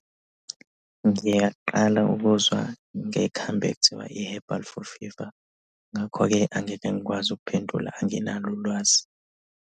Ngiyaqala ukuzwa ngekhambi ekuthiwa i-herbal for fever. Ngakho-ke angeke ngikwazi ukuphendula anginalo ulwazi.